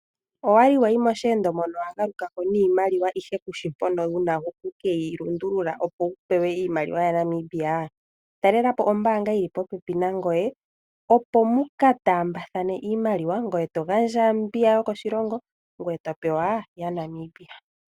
Owali wayi mooshendo moka wa galukako niimaliwa, ndele kushi mpoka to keyi lundulula opo wu pewe iimaliwa ya Namibia. Talelapo oombanga yili po pepi nangoye, opo muka taambathane iimaliwa, ngoye to gandja mbiy yokoshilongo, ngoye to pewa ya Namibia.